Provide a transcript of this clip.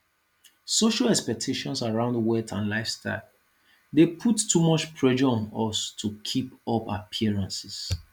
social expectations around wealth and lifestyle dey put too much pressure on us to keep up appearances